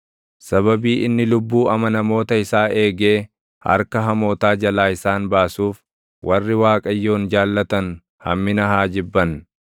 Sababii inni lubbuu amanamoota isaa eegee, harka hamootaa jalaa isaan baasuuf, warri Waaqayyoon jaallatan hammina haa jibban.